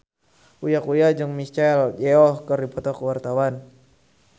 Uya Kuya jeung Michelle Yeoh keur dipoto ku wartawan